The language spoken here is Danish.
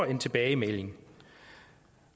en tilbagemelding